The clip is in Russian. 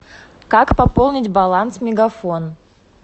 как пополнить баланс мегафон